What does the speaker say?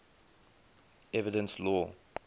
evidence law